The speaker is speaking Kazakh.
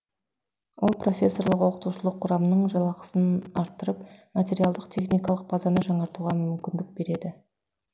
ол профессорлық оқытушылық құрамның жалақысын арттырып материалдық техникалық базаны жаңартуға мүмкіндік береді